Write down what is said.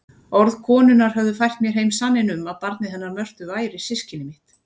Orð konunnar höfðu fært mér heim sanninn um að barnið hennar Mörtu væri systkini mitt.